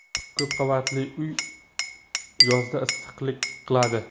Ko‘p qavatli uy yozda issiqlik qiladi.